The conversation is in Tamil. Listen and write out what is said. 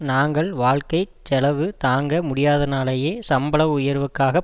நாங்கள் வாழ்க்கை செலவு தாங்க முடியாதனாலேயே சம்பள உயர்வுக்காகப்